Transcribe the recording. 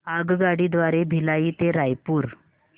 आगगाडी द्वारे भिलाई ते रायपुर